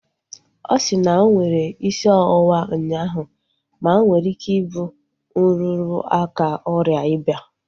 Ọ si na onwere isi ọwụwa ụnyaahụ ma onwere ike ịbụ nrụrụ aka oria ịba